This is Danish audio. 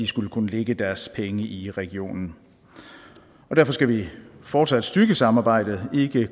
skulle kunne lægge deres penge i regionen derfor skal vi fortsat styrke samarbejdet ikke